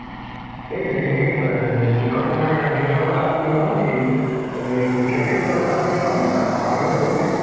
সেই বে সেই ব হে কি কই তোমাৰ হেৰি যোৱাৰ কথা আছিলে নহয় এই উম মৃগাক্ষীও যোৱাৰ কথা আছিলে নহয় তাত farm লে গ'ল নে ?